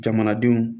Jamanadenw